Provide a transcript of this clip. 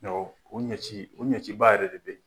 u ɲɛci u ɲɛciba yɛrɛ de bɛ ye.